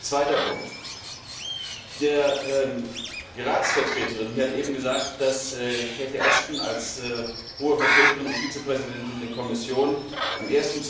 Zweiter Punkt Die Ratsvertreterin hat eben gesagt, dass Cathy Ashton als Hohe Vertreterin und Vizepräsidentin der Kommission am